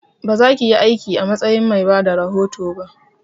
Ba zakiyi aiki a matsayin mai bada rahoto ba!